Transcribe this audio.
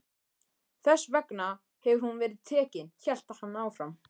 Þess vegna hefur hún verið tekin, hélt hann áfram.